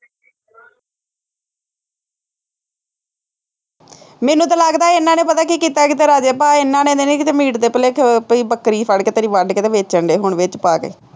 ਮੈਨੂੰ ਤਾਂ ਲੱਗਦਾ ਇਹਨਾ ਨੇ ਪਤਾ ਕੀ ਕੀਤਾ, ਕਿਤੇ ਰਾਜੇ ਭਾਅ ਇਹਨਾ ਨੇ ਨਹੀਂ ਕਿਤੇ ਮੀਟ ਦੇ ਭੁਲੇਖੇ ਤੇਰੀ ਬੱਕਰੀ ਫੜਕੇ ਤੇ ਤੇਰੀ ਵੱਢ ਕੇ ਵੇਚਣ ਡੇ ਹੋਣੇ ਹੁਣ ਵਿੱਚ ਪਾ ਕੇ